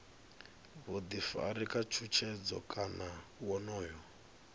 vhuḓifari kana tshutshedzo kana wonoyo